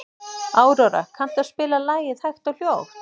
Aurora, kanntu að spila lagið „Hægt og hljótt“?